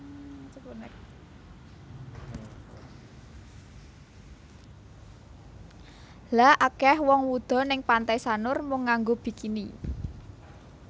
Lha akeh wong wudo ning Pantai Sanur mung nganggo bikini